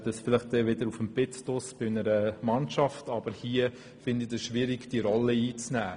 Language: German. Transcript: Das ist eher auf dem Platz draussen bei einer Mannschaft der Fall, doch hier finde ich es schwierig, diese Rolle einzunehmen.